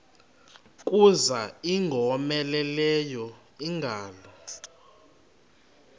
kuza ingowomeleleyo ingalo